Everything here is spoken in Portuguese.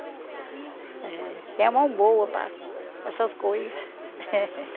É... Tem a mão boa para para essas coisas.